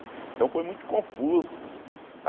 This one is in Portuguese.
Então foi muito confuso.